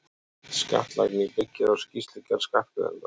Skattlagning byggir á skýrslugerð skattgreiðandans.